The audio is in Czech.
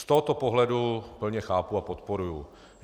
Z tohoto pohledu plně chápu a podporuji.